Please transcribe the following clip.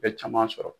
Bɛ caman sɔrɔ